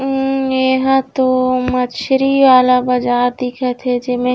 उम्म ये ह तो मछरी वाला बजार दिखत हे जेमे--